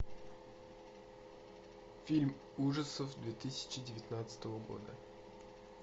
фильм ужасов две тысячи девятнадцатого года